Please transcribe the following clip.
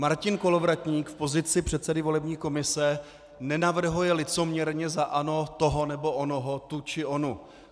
Martin Kolovratník v pozici předsedy volební komise nenavrhuje licoměrně za ANO toho nebo onoho, tu či onu.